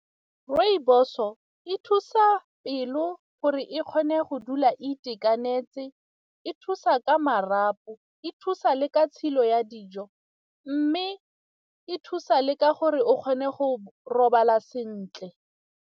Rooibos-o e thusa pelo gore e kgone go dula itekanetse, e thusa ka marapo, e thusa le ka tshelo ya dijo mme e thusa le ka gore o kgone go robala sentle.